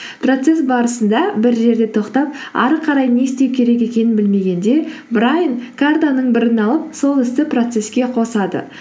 процесс барысында бір жерде тоқтап әрі қарай не істеу керек екенін білмегенде брайан картаның бірін алып сол істі процесске қосады